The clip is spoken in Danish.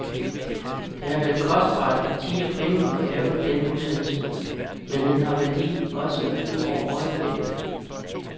Det har været kostbart i tid og penge at lave den udsendelse, men den har værdi også ud over øjeblikket.